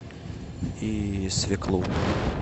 и свеклу